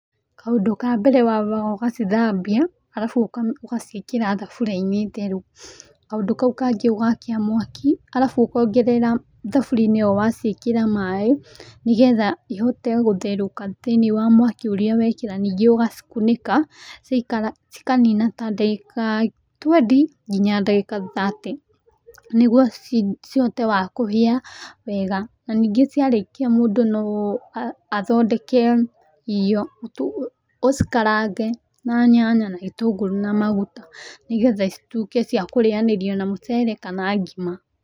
Kaũndũ ka mbere wambaga ũgacithambia, arabu ũka ũgaciĩkĩra thabũriainĩ theru. Kaũndũ kau kangĩ ũgakia mwaki, arabu ũkongerera thaburiinĩ ĩyo waciĩkĩra maĩ, nĩgetha ihote gũtherũka thiĩnĩ wa mwaki ũrĩa wekĩra, ningĩ ũgacikũnĩka, cikanina ta ndagĩka twenty nginya ta ndagĩka thirty nĩguo ci cihote wa kũhĩa, wega, na ningĩ ciarĩkia mũndũ no a athondeke irio tu, ũcikarange na nyanya na gĩtũngũrũ na maguta, nĩgetha citũike cia kũrĩanĩrwo na mũcere kana ngima.